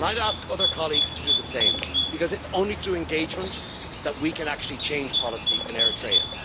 I would ask other colleagues to do the same because it is only through engagement that we can actually change policy in Eritrea.